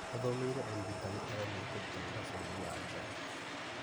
Athomeire ũrigitani agathiĩ kũruta wĩra bũrũri wa nja